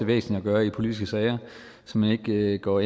væsentligt at gøre i politiske sager så man ikke går